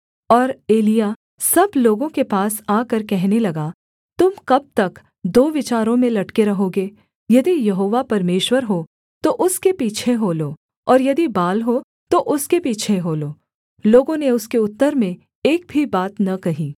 और एलिय्याह सब लोगों के पास आकर कहने लगा तुम कब तक दो विचारों में लटके रहोगे यदि यहोवा परमेश्वर हो तो उसके पीछे हो लो और यदि बाल हो तो उसके पीछे हो लो लोगों ने उसके उत्तर में एक भी बात न कही